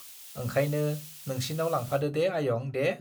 ओंखायनो नोंसिनाव लांफादो दे आयं दे।